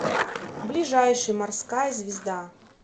ближайший морская звезда